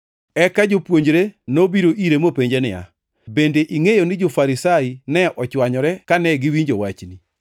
Eka jopuonjre nobiro ire mopenje niya, “Bende ingʼeyo ni jo-Farisai ne ochwanyore kane giwinjo wachni?”